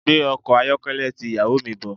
Gbé ọkọ̀ ayọ́kẹ́lẹ́ ti ìyàwó mi bọ̀.